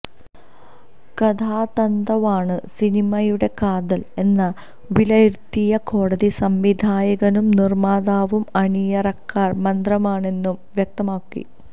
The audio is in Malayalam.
കഥാതന്തുവാണ് സിനിമയുടെ കാതൽ എന്ന് വിലയിരുത്തിയ കോടതി സംവിധായകനും നിർമാതാവും അണിയറക്കാർ മാത്രമാണന്നും വ്യക്തമാക്കി